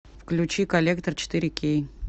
включи коллектор четыре кей